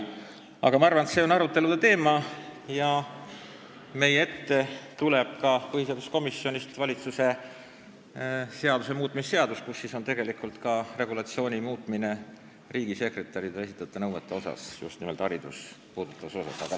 Aga teie küsitu on arutelu teema ja täiskogu ette tuleb põhiseaduskomisjonist ka valitsuse seaduse muutmise seadus eelnõu, kus on kirjas ka regulatsiooni muutmine riigisekretärile esitatavate nõuete osas, seda just nimelt haridust puudutavas osas.